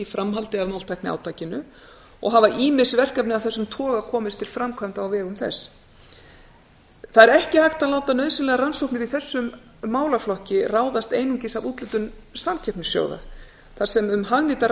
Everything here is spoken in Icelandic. framhaldi af máltækniátakinu og hafa ýmis verkefni af þessum toga komist til framkvæmda á vegum þess ekki er hægt að láta nauðsynlegar rannsóknir í þessum málaflokki ráðast einungis af úthlutun samkeppnissjóða þar sem um hagnýtar